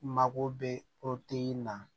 Mako bɛ na